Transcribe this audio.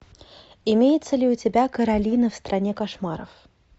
имеется ли у тебя каролина в стране кошмаров